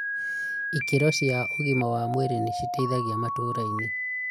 Ikĩro cia ũgima wa mwĩrĩ nĩ citeithagia matũrainĩ